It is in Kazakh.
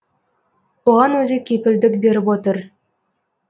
оған өзі кепілдік беріп отыр